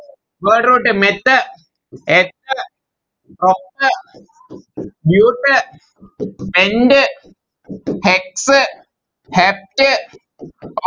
Word root meth eth prop but pent hex hept